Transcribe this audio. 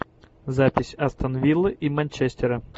запись астон вилла и манчестера